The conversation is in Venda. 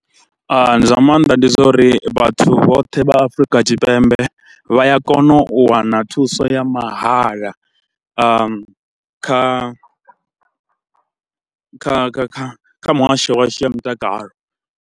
Zwa maanḓa ndi zwa uri vhathu vhoṱhe vha Afrika Tshipembe vha ya kona u wana thuso ya mahala kha kha kha kha muhasho washu ya mutakalo.